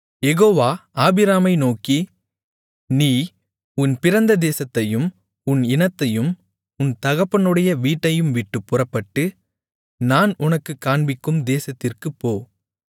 யெகோவா ஆபிராமை நோக்கி நீ உன் பிறந்த தேசத்தையும் உன் இனத்தையும் உன் தகப்பனுடைய வீட்டையும்விட்டுப் புறப்பட்டு நான் உனக்குக் காண்பிக்கும் தேசத்திற்குப் போ